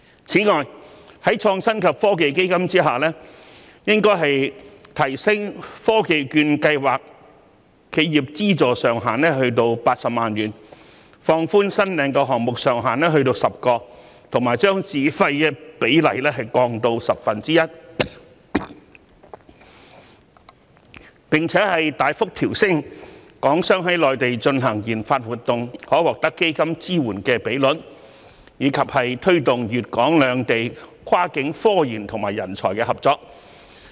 此外，在創新及科技基金之下，應提升科技券計劃的企業資助上限至80萬元、放寬新領項目上限至10個，以及將自費比例降至十分之一，並大幅調升港商在內地進行研發活動可獲得基金支援的比率，以及推動粵港兩地跨境科研及人才的合作。